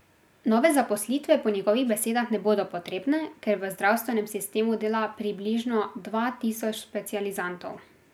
Nove zaposlitve po njegovih besedah ne bodo potrebne, ker v zdravstvenem sistemu dela približno dva tisoč specializantov.